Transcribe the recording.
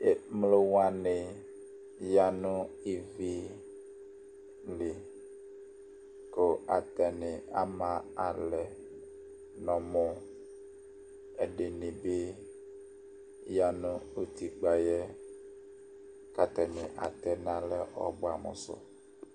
Emlowaŋi ɣaŋʋ ivili kʋ ataŋi ama alɛ ŋu ɔvlɛ Ɛɖìníbi ɣaŋu utikpaɛ Kʋ ataŋi atɛnalɛ ɔbʋamu su